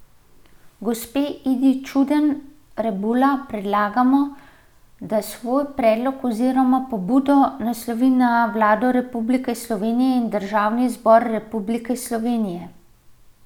Gospe Idi Čuden Rebula predlagamo, da svoj predlog oziroma pobudo naslovi na Vlado Republike Slovenije in Državni zbor Republike Slovenije.